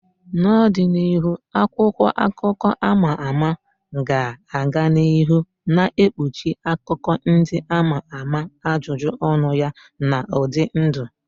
N'ọdịnihu, akwụkwọ akụkọ a ma ama ga-aga n'ihu na-ekpuchi akụkọ ndị ama ama, ajụjụ ọnụ ya na ụdị ndụ.